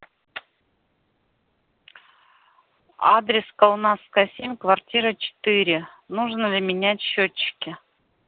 адрес каунасская семь квартира четыре нужно ли менять счётчики